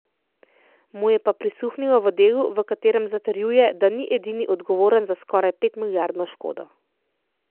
Mu je pa prisluhnilo v delu, v katerem zatrjuje, da ni edini odgovoren za skoraj petmilijardno škodo.